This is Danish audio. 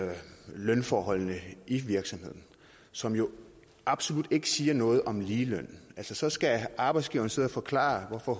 lønforholdene i virksomheden som jo absolut ikke siger noget om ligeløn så skal arbejdsgiveren sidde og forklare hvorfor